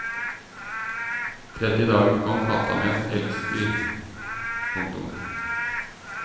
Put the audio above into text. Tredje dagen kom katta med et elgsdyr. punktum